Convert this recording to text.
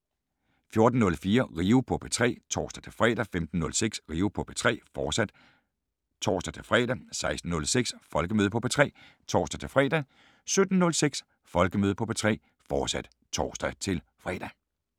14:04: Rio på P3 (tor-fre) 15:06: Rio på P3, fortsat (tor-fre) 16:06: Folkemøde på P3 (tor-fre) 17:06: Folkemøde på P3, fortsat (tor-fre)